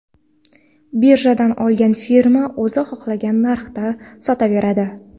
Birjadan olgan firma o‘zi xohlagan narxda sotaveradi.